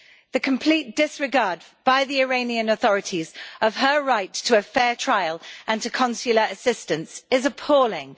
The complete disregard by the Iranian authorities of her right to a fair trial and to consular assistance is appalling.